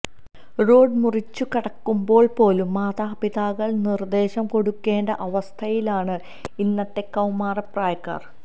road മുറിച്ചുകടക്കുമ്പോള് പോലും മാതാപിതാക്കള് നിര്ദേശം കൊടുക്കേണ്ട അവസ്ഥയിലാണ് ഇന്നത്തെ കൌമാര പ്രായക്കാര്